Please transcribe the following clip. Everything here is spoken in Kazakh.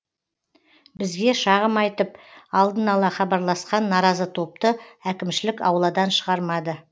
бізге шағым айтып алдын ала хабарласқан наразы топты әкімшілік ауладан шығармады